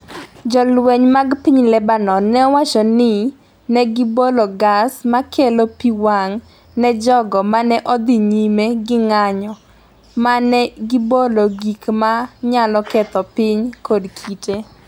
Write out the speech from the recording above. Jolweny mag piny Lebanon nowacho ni ne gibolo gas ma kelo pi wang’ ne jogo ma ne odhi nyime gi ng’anjo ma ne gibolo gik ma nyalo ketho piny kod kite.